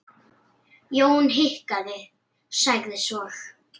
Jón hikaði, sagði svo